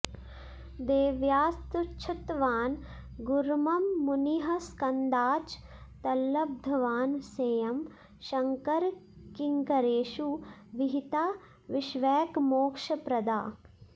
देव्यास्तच्छ्रुतवान् गुरुर्मम मुनिः स्कन्दाच्च तल्लब्धवान् सेयं शङ्करकिङ्करेषु विहिता विश्वैकमोक्षप्रदा